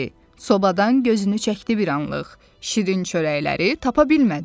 Sobadan gözünü çəkdi bir anlıq, şirin çörəkləri tapa bilmədi.